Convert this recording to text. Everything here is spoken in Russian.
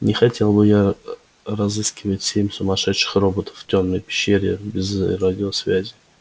не хотел бы я разыскивать семь сумасшедших роботов в тёмной пещере без радиосвязи